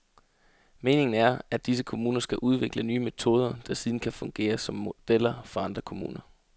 Meningen er, at disse kommuner skal udvikle nye metoder, der siden kan fungere som modeller for andre kommuner.